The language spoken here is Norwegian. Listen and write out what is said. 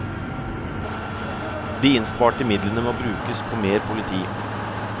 De innsparte midlene må brukes på mer politi.